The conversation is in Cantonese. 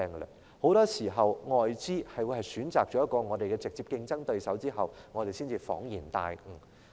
而很多時候，當外資選擇了我們的直接競爭對手後，我們才恍然大悟。